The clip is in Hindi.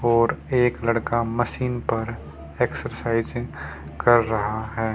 और एक लड़का मशीन पर एक्सरसाइज कर रहा है।